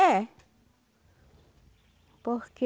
É. Porque...